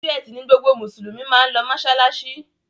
Ọjọ́ Ẹti ní gbogbo Musulumi mán ló masalasi.